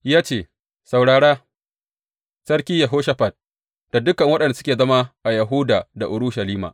Ya ce, Saurara, Sarki Yehoshafat da dukan waɗanda suke zama a Yahuda da Urushalima!